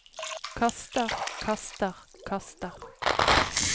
kaster kaster kaster